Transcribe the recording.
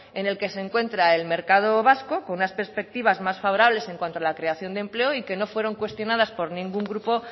en el que se encuentra el mercado vasco con unas perspectivas más favorables en cuanto a la creación de empleo y que no fueron cuestionadas por ningún grupo